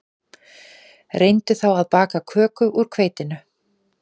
Reyndu þá að baka köku úr hveitinu